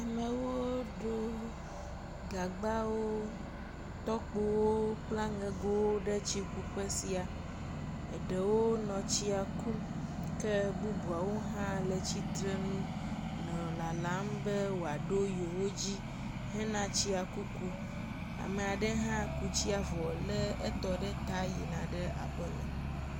amewo ɖó gagbawo tɔkpowo kple aŋegowo ɖe tsi kuƒe sia eɖewo nɔ tsiakum ke bubuawo hã le tsitsrenu nɔ lalam be woaɖo yewodzi hena tsia kuku amaɖe hã ku tsia vɔ le tɔ ɖe ta yina aƒeme